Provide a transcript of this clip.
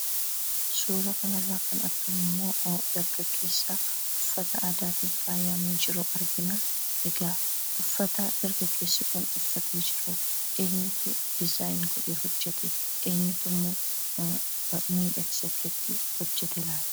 Suuraa kanarraa kan argamu ammoo dargaggeessa uffata aadaatiin faayame jiru argina. Egaa uffata dargaggeessi kun uffatee jiru eenyutu dizaayin godhee:hojjete? Eenyutu ammoo miidhaksee akkasitti hojjate laata?